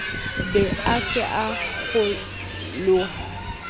be a se a kgeloha